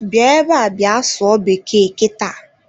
Bịa ebe a bịa sụọ bekee kita.